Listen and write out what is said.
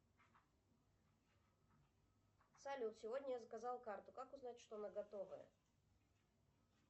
салют сегодня я заказал карту как узнать что она готовая